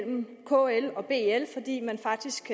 kl og bl fordi man faktisk